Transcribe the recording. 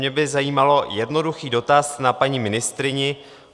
Mě by zajímal jednoduchý dotaz na paní ministryni.